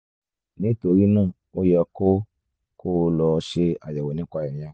nítorí náà ó yẹ kó kó o lọ ṣe àyẹ̀wò nípa ìyẹn